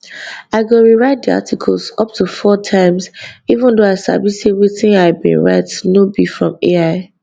i go rewrite di articles up to four times even though i sabi say wetin i bin write no be from ai